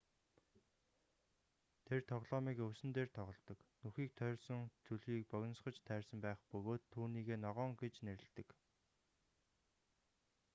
тэр тоглоомыг өвсөн дээр тоголдог нүхийг тойрсон зүлгийг богинсгож тайрсан байх бөгөөд түүнийгээ ногоон гэж нэрэлдэг